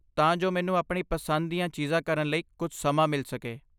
ਤਾਂ ਜੋ ਮੈਨੂੰ ਆਪਣੀ ਪਸੰਦ ਦੀਆਂ ਚੀਜ਼ਾਂ ਕਰਨ ਲਈ ਕੁਝ ਸਮਾਂ ਮਿਲ ਸਕੇ।